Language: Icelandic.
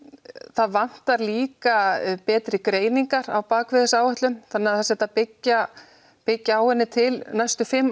það vantar líka betri greiningar á bakvið þessa áætlun þannig að það sé hægt að byggja byggja á henni til næstu fimm